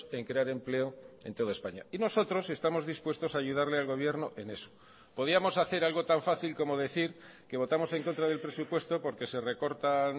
en crear empleo en toda españa y nosotros estamos dispuestos a ayudarle al gobierno en eso podíamos hacer algo tan fácil como decir que votamos en contra del presupuesto porque se recortan